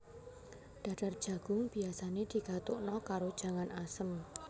Dadar jagung biasane digatukna karo jangan asem